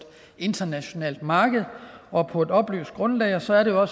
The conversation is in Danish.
internationalt marked og på et oplyst grundlag og så er det jo